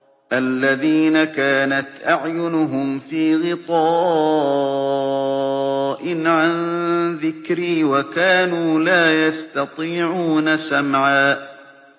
الَّذِينَ كَانَتْ أَعْيُنُهُمْ فِي غِطَاءٍ عَن ذِكْرِي وَكَانُوا لَا يَسْتَطِيعُونَ سَمْعًا